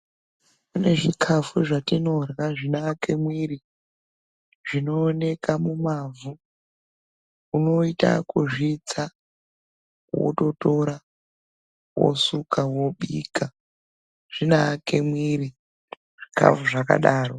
Kune zvikafu zvatinorya zvinoake mwiri zvinooneka mumavhu. Unoite ekuzvitsa wototora wosuka, wobika, zvinoake mwiri zvikafu zvakadaro.